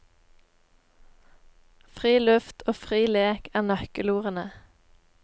Fri luft og fri lek er nøkkelordene.